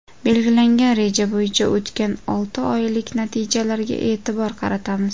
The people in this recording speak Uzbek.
Belgilangan reja bo‘yicha o‘tgan olti oylik natijalarga e’tibor qaratamiz.